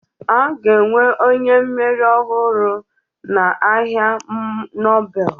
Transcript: A ga-enwe onye mmeri ọhụrụ ọnụ ahịa Nobel